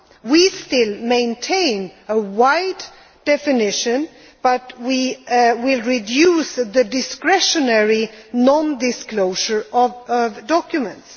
We still maintain a wide definition, but we will reduce the discretionary non disclosure of documents.